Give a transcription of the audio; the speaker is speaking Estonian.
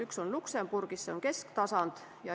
Üks on Luksemburgis, see on kesktasand.